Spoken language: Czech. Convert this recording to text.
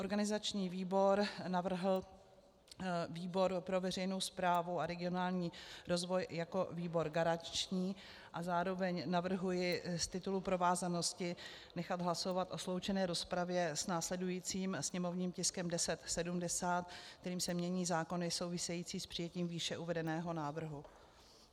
Organizační výbor navrhl výbor pro veřejnou správu a regionální rozvoj jako výbor garanční a zároveň navrhuji z titulu provázanosti nechat hlasovat o sloučené rozpravě s následujícím sněmovním tiskem 1070, kterým se mění zákony související s přijetím výše uvedeného návrhu.